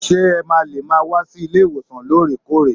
Ṣé ẹ ma lè máa wá sí ilé ìwòsàn loore-koore.